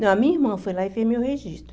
Não, a minha irmã foi lá e fez meu registro.